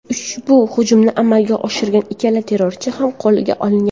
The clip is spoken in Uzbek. Ushbu hujumni amalga oshirgan ikkala terrorchi ham qo‘lga olingan.